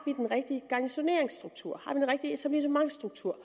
den rigtige garnisoneringsstruktur om har den rigtige etablissementsstruktur